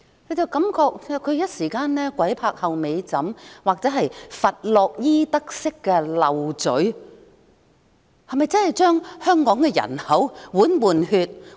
我感覺她是一時間"鬼拍後尾枕"或佛洛伊德式說漏嘴，她是否要將香港的人口換血？